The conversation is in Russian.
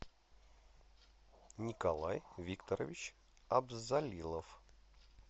николай викторович абзалилов